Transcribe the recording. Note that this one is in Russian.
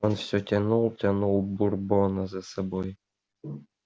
он все тянул тянул бурбона за собой